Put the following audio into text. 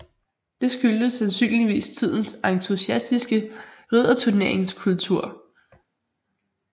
Det skyldtes sandsynligvis tidens entusiastiske ridderturneringskultur